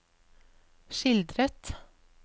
skildret